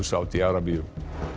Sádi Arabíu